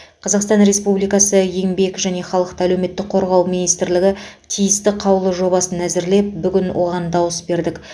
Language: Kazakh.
қазақстан республикасы еңбек және халықты әлеуметтік қорғау министрлігі тиісті қаулы жобасын әзірлеп бүгін оған дауыс бердік